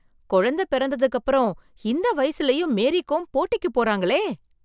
குழந்தை பிறந்ததுக்கு அப்புறம் இந்த வயசுலயும் மேரி கோம் போட்டிக்கு போறாங்களே!